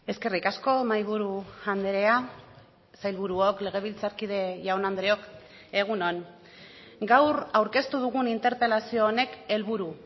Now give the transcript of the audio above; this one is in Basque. eskerrik asko mahaiburu andrea sailburuok legebiltzarkide jaun andreok egun on gaur aurkeztu dugun interpelazio honek helburu